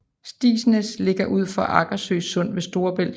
Stigsnæs ligger ud til Agersø Sund ved Storebælt